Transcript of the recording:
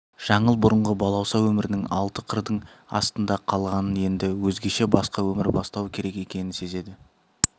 жаңыл бұрынғы балауса өмірінің алты қырдың астында қалғанын енді өзгеше басқа өмір бастау керек екенін сезеді